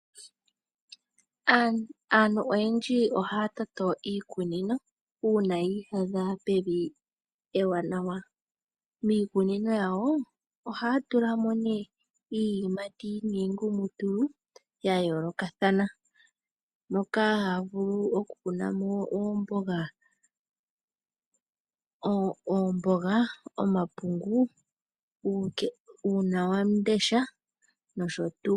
Aantu oyendji ohaya toto iikunino uuna yi iyadha pevi ewanawa. Miikunino yawo ohaya tula mo nee iiyimati niingumutulu ya yoolokathana, moka haya vulu okukuna mo oomboga, omapungu uunawamundesha nosho tu.